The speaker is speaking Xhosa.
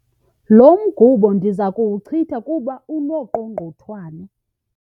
Lo mgubo ndiza kuwuchitha kuba unooqogqonthwane.